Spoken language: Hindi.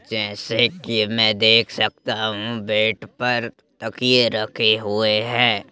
जैसा की में देख सकता हूं कि बेड पर तकिए रखे हुए हैं।